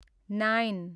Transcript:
nine